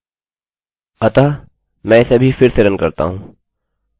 तो हमने कर लिया अतः हमें एक सफल पेज मिल गया